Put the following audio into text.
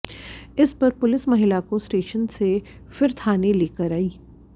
इसपर पुलिस महिला को स्टेशन से फिर थाने लेकर आई